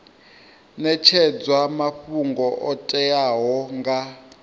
netshedzwa mafhungo o teaho nga